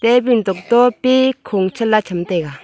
table tokto pe khung chanla chamtaiga.